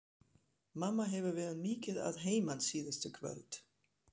Mamma hefur verið mikið að heiman síðustu kvöld.